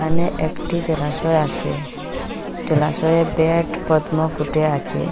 এখানে একটি জলাশয় আছে জলাশয়ে ব্যাট পদ্ম ফুটে আছে।